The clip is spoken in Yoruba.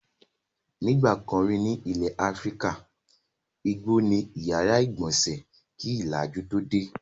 Nígbà kan rí ní ilẹ̀ Áfíríkà, igbó ni ó ìyàrá-ìgbọnsẹ̀ kí ìlàjú tó dé.